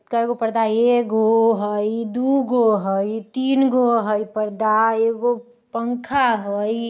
कएगो पर्दा हई एगो हई दुगो हई तीनगो हई पर्दा एगो पंखा हई।